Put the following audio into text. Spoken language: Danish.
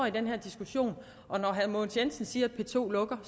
i den her diskussion og herre mogens jensen siger at p to lukker